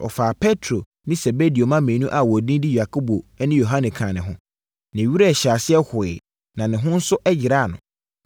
Ɔfaa Petro ne Sebedeo mma baanu a wɔn edin de Yakobo ne Yohane kaa ne ho. Ne werɛ hyɛɛ aseɛ hoeɛ, na ne ho nso yeraa no.